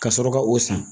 Ka sɔrɔ ka o san